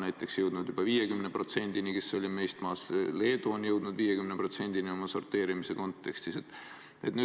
näiteks Itaalia, kes oli meist maas, on jõudnud juba 50%-ni, ka Leedu on jõudnud oma sorteerimisega 50%-ni.